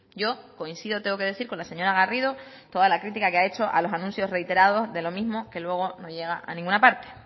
yo coincido tengo que decir con la señora garrido toda la crítica que ha hecho a los anuncios reiterados de lo mismo que luego no llega a ninguna parte